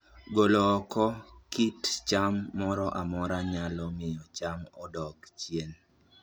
Golo oko kit cham moro amora manyalo miyo cham odog chien